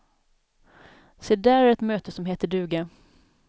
Se där är ett möte som heter duga.